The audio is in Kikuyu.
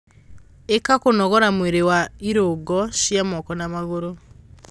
Ika kũnogora mwĩrĩ wa irungo cia moko na maguru